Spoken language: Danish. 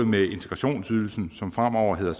med integrationsydelsen som fremover hedder